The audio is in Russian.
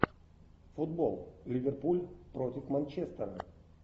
футбол ливерпуль против манчестера